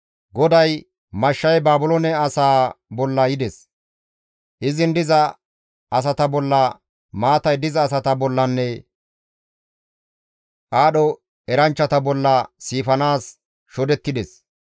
GODAY, «Mashshay Baabiloone asaa bolla yides; izin diza asata bolla, maatay diza asata bollanne aadho eranchchata bolla siifanaas shodettides.